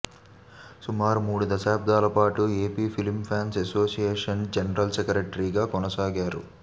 సుమారు మూడు దశాబ్దాల పాటు AP film fans association general సెక్రటరీగా కొనసాగారు